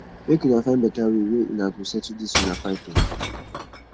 make una find beta way wey una go settle dis una fight o